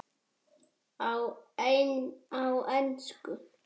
Á ensku